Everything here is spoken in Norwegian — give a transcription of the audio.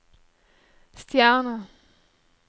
stjerne